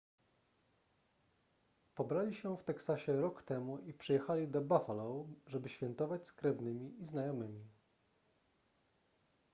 pobrali się w teksasie rok temu i przyjechali do buffalo żeby świętować z krewnymi i znajomymi